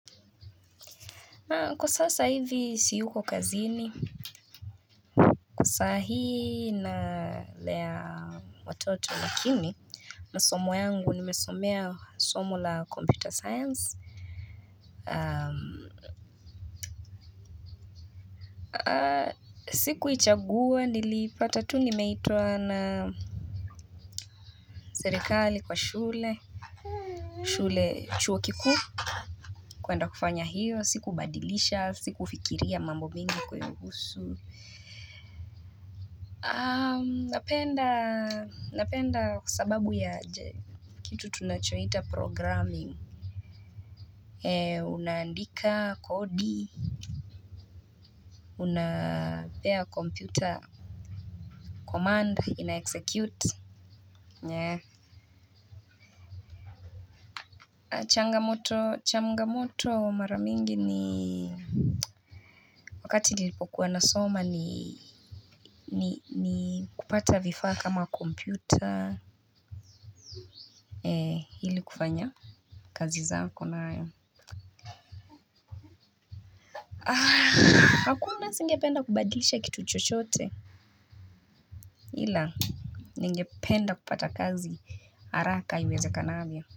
Na kwa sasa hivi siyuko kazini sahii nalea watoto lakini masomo yangu nimesomea somo la computer science Sikuichagua niliipata tu nimeitwa na Serikali kwa shule chuo kikuu kwenda kufanya hiyo sikubadilisha sikufikiria mambo mingi kuihusu Napenda kwa sababu ya Kitu tunachohita programming unaandika kodi unapea computer command inaexecute. Changamoto mara mingi ni wakati nilipokuwa nasoma ni kupata vifaa kama computer ili kufanya kazi zako nayo hakuna singependa kubadlisha kitu chochote ila ningependa kupata kazi haraka iwezakanavyo.